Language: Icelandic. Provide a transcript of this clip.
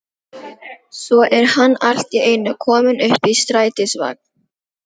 Svo er hann allt í einu kominn upp í strætisvagn.